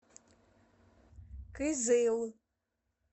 кызыл